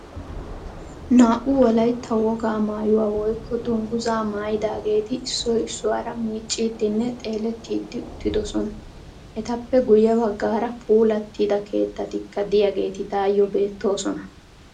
Naa"u wolaytta wogaa mayuwa woykko dungguzzaa mayidaageeti issoy issuwara miicciiddinne xeelettiiddi uttidosona. Etappe guyye baggaara puulattida keettatikka diyageeti tayyoo beettoosona.